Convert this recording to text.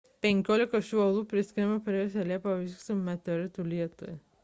penkiolika šių uolų priskiriama praėjusią liepą vykusiam meteoritų lietui